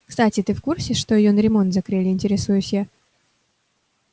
кстати ты в курсе что её на ремонт закрыли интересуюсь я